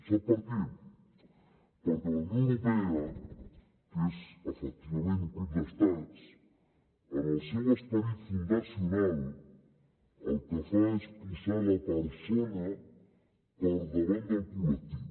sap per què perquè la unió europea que és efectivament un club d’estats en el seu esperit fundacional el que fa és posar la persona per davant del col·lectiu